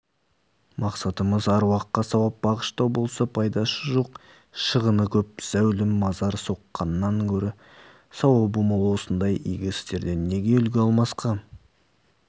мақсатымыз аруаққа сауап бағыштау болса пайдасы жоқ шығыны көп зәулім мазар соққаннан гөрі сауабы мол осындай игі істерден неге үлгі алмасқа